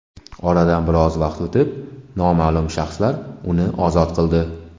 Oradan biroz vaqt o‘tib noma’lum shaxslar uni ozod qildi.